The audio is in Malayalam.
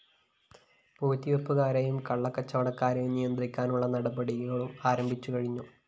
പൂഴ്ത്തിവയ്പ്പുകാരെയും കള്ളക്കച്ചവടക്കാരെയും നിയന്ത്രിക്കാനുള്ള നടപടിയും ആരംഭിച്ചുകഴിഞ്ഞു